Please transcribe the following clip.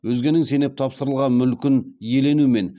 өзгенің сеніп тапсырылған мүлкін иелену мен